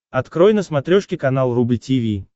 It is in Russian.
открой на смотрешке канал рубль ти ви